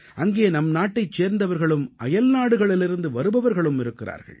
அங்கே நம் நாட்டைச் சேர்ந்தவர்களும் அயல்நாடுகளிலிருந்து வருபவர்களும் இருக்கிறார்கள்